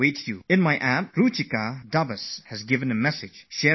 Ruchika Dabas has sent a message on my App and shared her experience